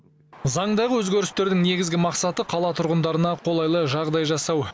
заңдағы өзгерістердің негізгі мақсаты қала тұрғындарына қолайлы жағдай жасау